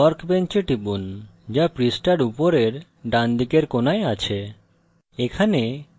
workbench এ টিপুন যা পৃষ্ঠার উপরের ডানদিকের কোণায় আছে